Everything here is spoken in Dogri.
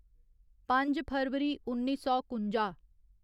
पंज फरवरी उन्नी सौ कुंजा